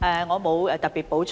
我沒有特別補充。